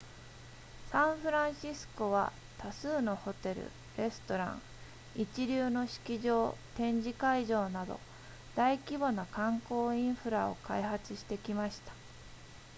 サンフランシスコは多数のホテルレストラン一流の式場展示会場など大規模な観光インフラを開発してきました